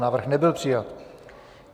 Návrh nebyl přijat.